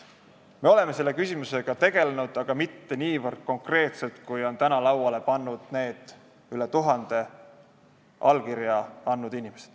Me oleme selle küsimusega tegelenud, aga mitte niivõrd konkreetselt, kui on täna lauale pannud need üle tuhande allkirja andnud inimese.